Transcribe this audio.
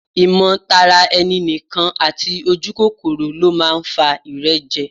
Ìmọ̀ tara ẹni nìkan àti ojúkòkòrò ló máa ń fa ìrẹ́jẹ